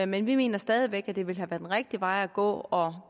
men vi mener stadig væk at det ville have været den rigtige vej at gå og